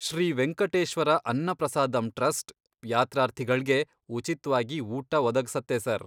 Shri Venkateshwara Anna Prasadam trust ಯಾತ್ರಾರ್ಥಿಗಳ್ಗೆ ಉಚಿತ್ವಾಗಿ ಊಟ ಒದಗ್ಸತ್ತೆ ಸರ್.